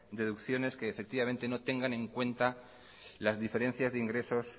deducciones que no tengan en cuenta las diferencias de ingresos